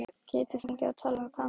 Get ég fengið að tala við Kamillu?